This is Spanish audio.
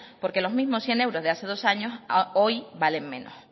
porque los mismos cien euros de hace dos años hoy valen menos